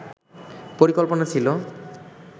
পরিকল্পনা ছিল